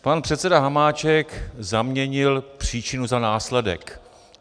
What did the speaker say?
Pan předseda Hamáček zaměnil příčinu za následek.